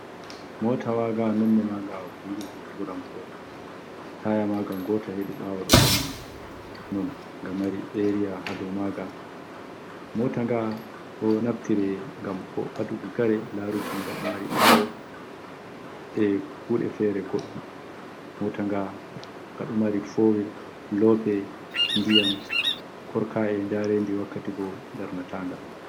Motawaga nonne maga bulu e tura kore. Taya ma ga gota heɗi bawo ɗo vangi. Non nga mari eriya ha dow maga. Mota nga ɗo naftire ngam aduɗi kare. laruki ga ɗo mari bawo. e kuɗe fere koɗɗu. motaga gaɗo mari fowil lope, diyam, korkaye, jarenɗi, wakkatigo darnatanga.